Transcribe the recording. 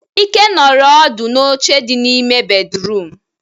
Ike nọrọ ọdu n'oche di n'ime bédrụum.